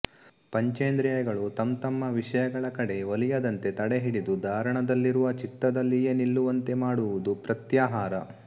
ಪಂಚೇಂದ್ರಿಯಗಳು ತಂತಮ್ಮ ವಿಷಯಗಳ ಕಡೆ ಒಲಿಯದಂತೆ ತಡೆಹಿಡಿದು ಧಾರಣದಲ್ಲಿರುವ ಚಿತ್ತದಲ್ಲಿಯೇ ನಿಲ್ಲುವಂತೆ ಮಾಡುವುದು ಪ್ರತ್ಯಾಹಾರ